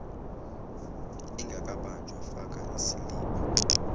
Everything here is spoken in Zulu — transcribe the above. ingakabanjwa faka isiliphu